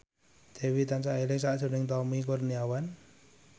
Dewi tansah eling sakjroning Tommy Kurniawan